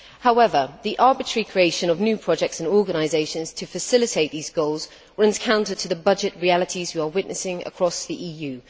However, the arbitrary creation of new projects and organisations to facilitate these goals runs counter to the budgetary realities evident across the EU.